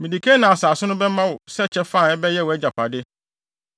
“Mede Kanaan asase no bɛma wo sɛ kyɛfa a ɛbɛyɛ wʼagyapade.”